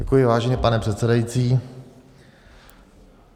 Děkuji, vážený pane předsedající.